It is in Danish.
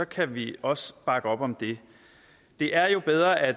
kan vi også bakke op om det er jo bedre at